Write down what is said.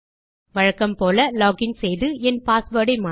வழக்கம் போல லோகின் செய்து என் பாஸ்வேர்ட் ஐ மாற்ற